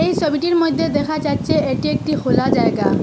এই সবিটির মইদ্যে দেখা যাচ্ছে এটি একটি হোলা জায়গা।